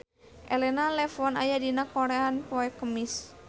Elena Levon aya dina koran poe Kemis